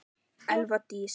Elva Dís.